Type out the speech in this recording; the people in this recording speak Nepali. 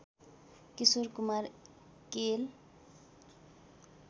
किशोर कुमार केएल